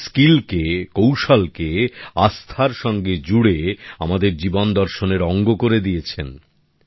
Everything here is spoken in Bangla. ওনারাও স্কিলকে কৌশলকে আস্থার সঙ্গে জুড়ে আমাদের জীবন দর্শনের অঙ্গ করে দিয়েছেন